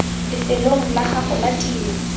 lefelong la gago la tiro